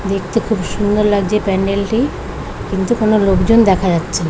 দেখতে খুব সুন্দর লাগছে প্যান্ডেল -টি। কিন্তু কোনো লোক জন দেখা যাচ্ছে--